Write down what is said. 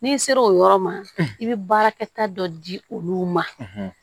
N'i sera o yɔrɔ ma i bɛ baarakɛta dɔ di olu ma